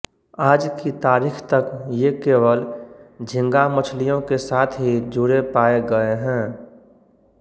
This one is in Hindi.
आज की तारीख तक ये केवल झींगा मछलियों के साथ ही जुड़े पाये गए हैं